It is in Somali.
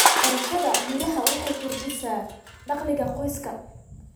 Beerashada miraha waxay kordhisaa dakhliga qoyska.